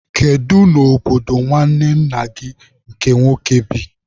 Kedu n'obodo nwanne nna gị nke nwoke bi?